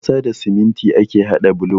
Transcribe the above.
Da ƙasa da siminti ake hada bulo.